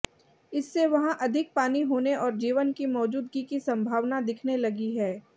इससे वहां अधिक पानी होने और जीवन की मौजूदगी की संभावना दिखने लगी है